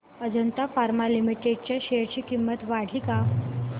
Ajanta pharma limited च्या share ची किंमत वाढली का